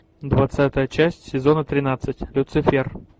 двадцатая часть сезона тринадцать люцифер